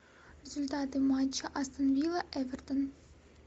результаты матча астон вилла эвертон